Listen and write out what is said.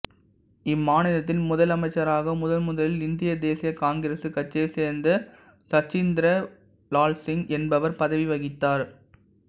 இம்மாநிலத்தின் முதலமைச்சராக முதன்முதலில் இந்திய தேசிய காங்கிரசு கட்சியைச் சேர்ந்த சச்சிந்திர லால் சிங் என்பவர் பதவி வகித்தார்